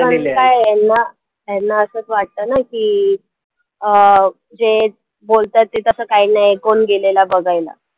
ह्यांना ह्यांना असच वाटतं ना की अं जे बोलतात ते तसं काही नाहीये कोण गेलेलं बघायला.